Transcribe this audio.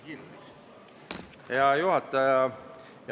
Hea juhataja!